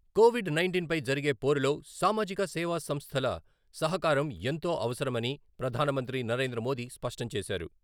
Covid nineteen పై జరిగే పోరులో సామాజిక సేవా సంస్థల సహకారం ఎంతో అవసరమని ప్రధాన మంత్రి నరేంద్ర మోదీ స్పష్టం చేశారు.